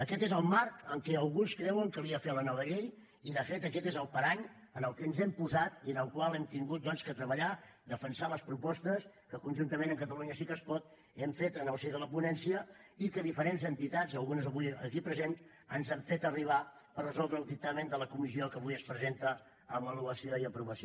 aquest és el marc en què alguns creuen calia fer la nova llei i de fet aquest és el parany en què ens hem posat i en el qual hem hagut doncs de treballar defensar les propostes que conjuntament amb catalunya sí que es pot hem fet en el si de la ponència i que diferents entitats algunes avui aquí presents ens han fet arribar per resoldre el dictamen de la comissió que avui es presenta a avaluació i aprovació